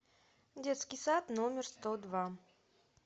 детский сад номер сто два